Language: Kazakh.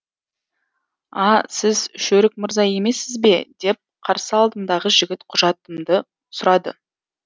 а сіз шөрік мырза емессіз бе деп қарсы алдымдағы жігіт құжатымды сұрады